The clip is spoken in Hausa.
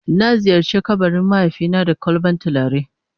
Na ziyarce kabarin mahaifi na da kwalban tulare.